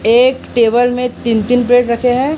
एक टेबल में तीन तीन प्लेट रखे हैं।